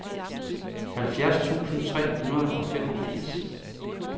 halvfjerds tusind tre hundrede og femogfirs